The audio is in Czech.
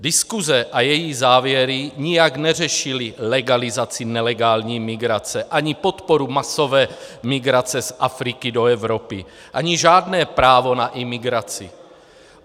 Diskuse a její závěry nijak neřešily legalizaci nelegální migrace, ani podporu masové migrace z Afriky do Evropy, ani žádné právo na imigraci.